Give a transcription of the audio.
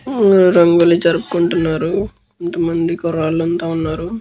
ఉమ్ న రంగోలి జరుపుకుంటున్నారు కొంత మంది కుర్రాళ్ళు అంతా వున్నారు.